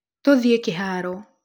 Tũthiĩ kĩharo.